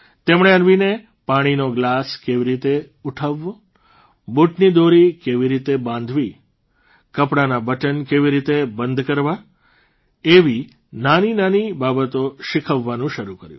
તેમણે અન્વીને પાણીનો ગ્લાસ કેવી રીતે ઉઠાવવો બૂટની દોરી કેવી રીતે બાંધવી કપડાના બટન કેવી રીતે બંધ કરવા એવી નાનીનાની બાબતો શીખવવાનું શરૂ કર્યું